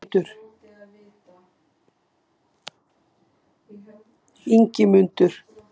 Ingimundur